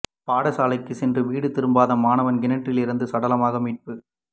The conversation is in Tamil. பாடசாலைக்கு சென்று வீடு திரும்பாத மாணவன் கிணற்றில் இருந்து சடலமாக மீட்பு